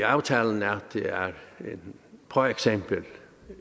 aftalen at det for eksempel